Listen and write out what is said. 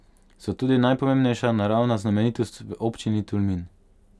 So tudi najpomembnejša naravna znamenitost v občini Tolmin.